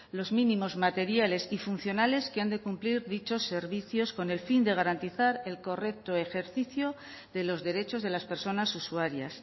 los mínimos materiales y funcionales que han de cumplir dichos servicios con el fin de garantizar el correcto ejercicio de los derechos de las personas usuarias